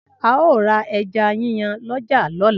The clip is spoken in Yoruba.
ao ra eja yiyan l'oja lola